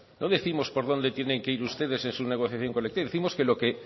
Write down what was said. no décimos por dónde tienen que ir ustedes en su negociación colectiva décimos que lo que